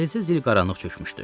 Dəhlizə zülm qaranlıq çökmüşdü.